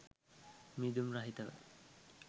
මීදුම් රහිතව